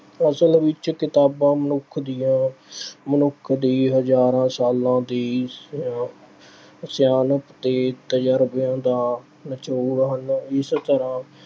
ਅਸਲ ਵਿੱਚ ਕਿਤਾਬਾਂ ਮਨੁੱਖ ਦੀਆਂ ਅਹ ਮਨੁੱਖ ਦੀ ਹਜ਼ਾਰਾਂ ਸਾਲਾਂ ਦੀ ਸਿ ਅਹ ਸਿਆਣਪ ਤੇ ਤਜ਼ਰਬਿਆਂ ਦਾ ਨਿਚੋੜ ਹਨ। ਇਸ ਤਰ੍ਹਾਂ